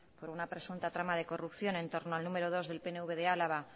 por una presunta trama de corrupción en torno al número dos del pnv de álava